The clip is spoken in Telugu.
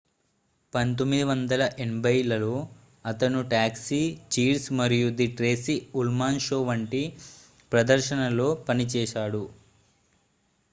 1980 లలో అతను టాక్సీ చీర్స్ మరియు ది ట్రేసీ ఉల్మాన్ షో వంటి ప్రదర్శనలలో పనిచేశాడు